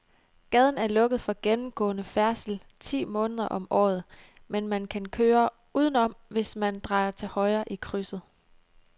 Gaden er lukket for gennemgående færdsel ti måneder om året, men man kan køre udenom, hvis man drejer til højre i krydset.